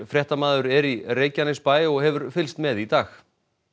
fréttamaður er í Reykjanesbæ og hefur fylgst með í dag